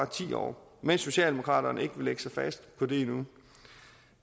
ti år mens socialdemokraterne ikke vil lægge sig fast på det endnu